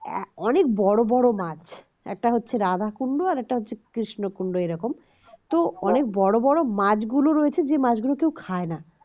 অনেক বড় বড় মাছ একটা হচ্ছে রাধাকুণ্ড আর একটা হচ্ছে কৃষ্ণকুন্ড এরকম তো অনেক বড় বড় মাছ গুলো রয়েছে যে মাছগুলো কেউ খায় না